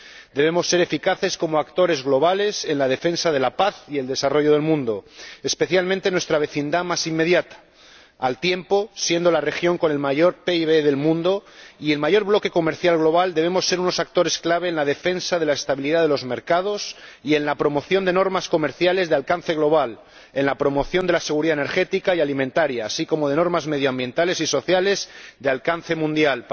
Debemos ser eficaces como actores globales en la defensa de la paz y el desarrollo del mundo —especialmente de nuestra vecindad más inmediata-y, siendo al mismo tiempo la región con el mayor PIB del mundo y el mayor bloque comercial global, debemos ser unos actores clave en la defensa de la estabilidad de los mercados y en la promoción de normas comerciales de alcance global, así como en la promoción de la seguridad energética y alimentaria y de normas medioambientales y sociales de alcance mundial.